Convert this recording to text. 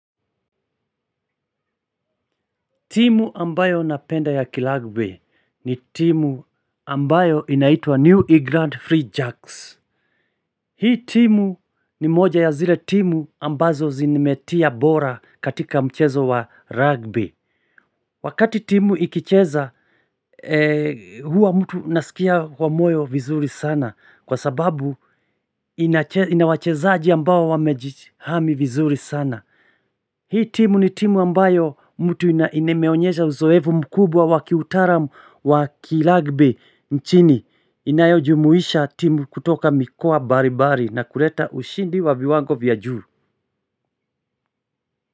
Timu ambayo napenda ya kirugby ni timu ambayo inaitwa New England Free Jacks. Hii timu ni moja ya zile timu ambazo zimetia bora katika mchezo wa rugby. Wakati timu ikicheza huwa mtu nasikia kwa moyo vizuri sana kwa sababu ina wachezaji ambayo wamejihami vizuri sana. Hii timu ni timu ambayo mtu imeonyesha uzoefu mkubwa wa kiutaalamu wa kirugby nchini inayojumuisha timu kutoka mikoa mbalimbali na kuleta ushindi wa viwango vya juu.